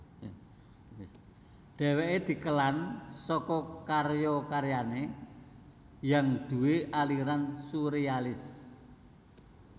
Dheweke dikelan saka karya karyane yang duwé aliran surealis